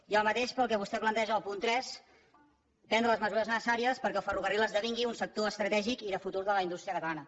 i el mateix per al que vostè planteja al punt tres prendre les mesures necessàries perquè el ferrocarril esdevingui un sector estratègic i de futur de la indústria catalana